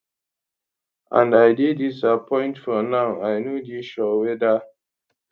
and i dey disappoint for now i no dey sure weda